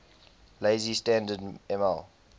lazy standard ml